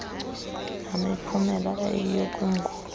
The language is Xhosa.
namiphumela iyiyo kwingulo